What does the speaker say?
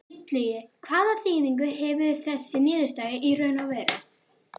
Illugi, hvaða þýðingu hefur þessi niðurstaða í raun og veru?